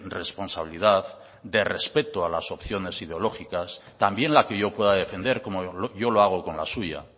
responsabilidad de respeto a las opciones ideológicas también la que yo pueda defender como yo lo hago con la suya